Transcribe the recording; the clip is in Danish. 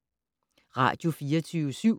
Radio24syv